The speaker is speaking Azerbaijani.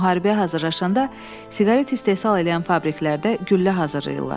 Müharibəyə hazırlaşanda siqaret istehsal eləyən fabriklərdə güllə hazırlayırlar.